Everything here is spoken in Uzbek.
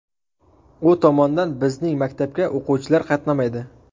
U tomondan bizning maktabga o‘quvchilar qatnamaydi.